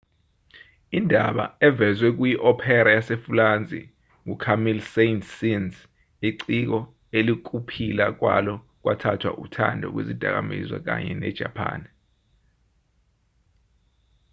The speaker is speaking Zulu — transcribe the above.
indaba evezwe kuyi-opera yasefulansi ngu-camille saint-saens iciko elikuphila kwalo kwathathwa uthando lwezidakamizwa kanye ne-japani